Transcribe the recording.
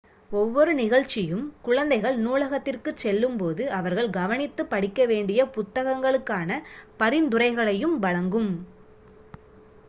ஒவ்வொரு நிகழ்ச்சியும் குழந்தைகள் நூலகத்திற்குச் செல்லும்போது அவர்கள் கவனித்துப் படிக்கவேண்டிய புத்தகங்களுக்கான பரிந்துரைகளையும் வழங்கும்